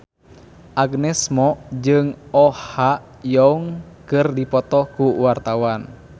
Agnes Mo jeung Oh Ha Young keur dipoto ku wartawan